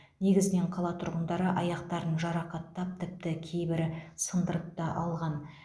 негізінен қала тұрғындары аяқтарын жарақаттап тіпті кейбірі сындырып та алған